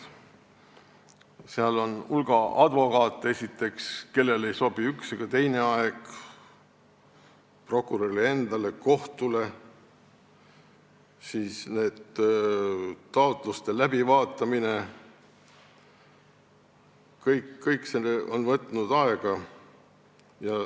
Seal on esiteks hulk advokaate, kellele ei sobi üks ega teine aeg, aeg ei sobi ka prokurörile endale, kohtule, ning taotluste läbivaatamine on võtnud aega.